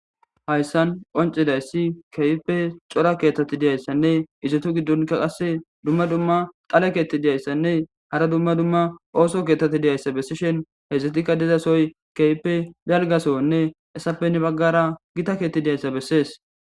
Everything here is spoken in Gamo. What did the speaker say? Hayssan qonccidayssi kehippe cora keththati dizaysanne izetu gidon qase dumma dumma dhale keththati dizaysanne hara dumma dumma oththo keththati dizayssa besishin hessatika dizasoy kehipe dalga sohone hesape heni bagara gita keththey dizayssa beses.